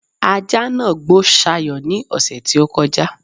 ajá nàá gbó Sayo ní ọ̀ṣẹ̀ tí ó kọjá